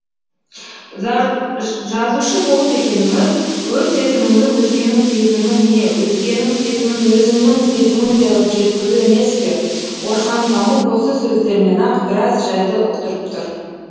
жазушы болу дегеніміз өз сезіміңді өзгенің сезімі не өзгенің сезімін өзіңнің сезіміңдей ғып жеткізу емес пе орхан памук осы сөздерімен ақ біраз жайды ұқтырып тұр